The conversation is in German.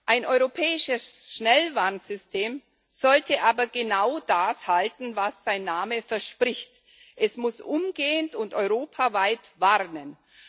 Ein europäisches Schnellwarnsystem sollte aber genau das halten, was sein Name verspricht Es muss umgehend und europaweit warnen.